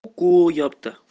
ку ёпт